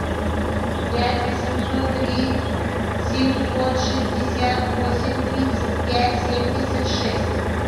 пять восемьсот три семьсот шестьдесят восемь тридцать пять семьдесят шесть